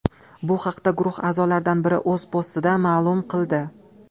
Bu haqda guruh a’zolaridan biri o‘z postida ma’lum qildi .